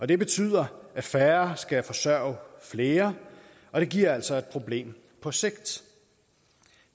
det betyder at færre skal forsørge flere og det giver altså et problem på sigt